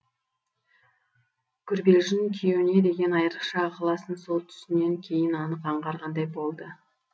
гүрбелжін күйеуіне деген айрықша ықыласын сол түсінен кейін анық аңғарғандай болды